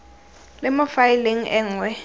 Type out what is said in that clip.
le mo faeleng e nngwe